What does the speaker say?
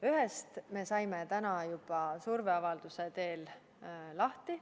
Ühest me saime täna juba surveavalduse teel lahti.